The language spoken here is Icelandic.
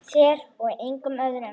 Þér og engum öðrum.